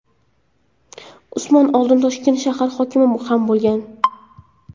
Usmonov oldin Toshkent shahar hokimi ham bo‘lgan .